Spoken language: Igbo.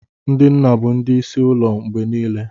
Ndị nna bụ ndị isi ụlọ mgbe niile.